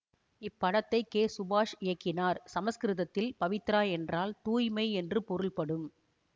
இப்படத்தை கே சுபாஷ் இயக்கினார் சமஸ்கிருதத்தில் பவித்ரா என்றால் தூய்மை என்று பொருள்படும்